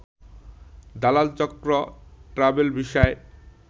দালাল চক্র ট্র্যাভেল ভিসায়